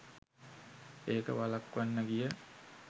ඒක වළක්වන්න ගිය